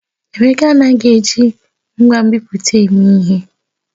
Emeka anaghị eji ngwa nbipute eme ihe.